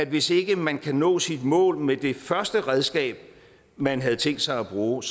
hvis ikke man kan nå sit mål med det første redskab man havde tænkt sig at bruge